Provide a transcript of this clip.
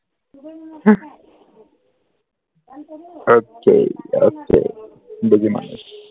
ok ok